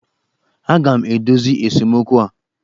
Aga m edozi esemokwu a!